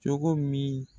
Cogo min